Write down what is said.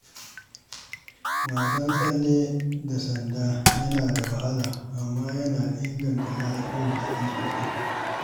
Wasan tsalle da sanda yana da wahala amma yana inganta lafiyar jiki sosai.